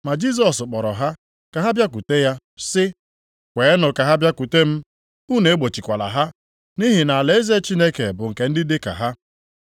Ma Jisọs kpọrọ ha ka ha bịakwute ya, sị, “Kweenụ ka ha bịakwute m, unu egbochikwala ha, nʼihi na alaeze Chineke bụ nke ndị dị ka ha.